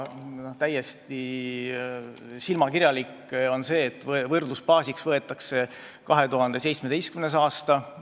Täiesti silmakirjalik on see, et võrdlusbaasiks võetakse 2017. aasta.